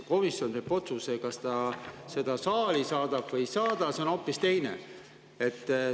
Komisjon teeb otsuse, kas ta selle saali saadab või ei saada, aga see on hoopis teine asi.